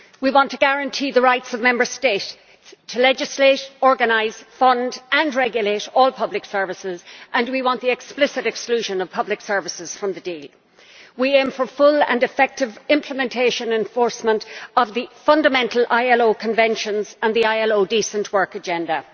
We want to guarantee the rights of Member States to legislate, organise, fund and regulate all public services, and we want the explicit exclusion of public services from the deal. We aim for full and effective implementation and enforcement of the fundamental ILO Conventions and the ILO Decent Work Agenda.